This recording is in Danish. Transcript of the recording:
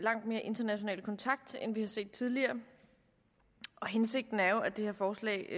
langt mere international kontakt end vi har set tidligere og hensigten er jo at det her forslag